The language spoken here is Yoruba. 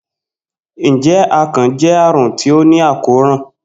Njẹ akàn jẹ arun ti o ni àkóràn?